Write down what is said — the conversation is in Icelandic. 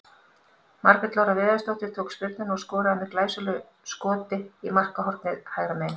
Margrét Lára Viðarsdóttir tók spyrnuna og skoraði með glæsilegu skot í markhornið hægra megin.